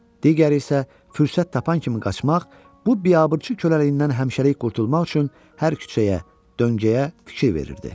Digəri isə fürsət tapan kimi qaçmaq, bu biabırçı köləliyindən həmişəlik qurtulmaq üçün hər küçəyə, döngəyə fikir verirdi.